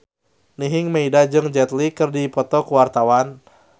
Nining Meida jeung Jet Li keur dipoto ku wartawan